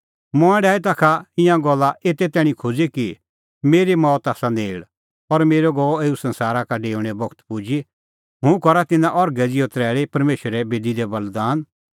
मंऐं डाही ताखा ईंयां गल्ला एते तैणीं खोज़ी कि मेरी मौत आसा नेल़ और मेरअ गअ एऊ संसारा डेऊणेओ बगत पुजी हुंह करनअ तिन्नां अर्घै ज़िहअ तरैल़ी परमेशरे बेदी दी बल़ीदान